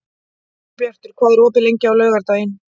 Ingibjartur, hvað er opið lengi á laugardaginn?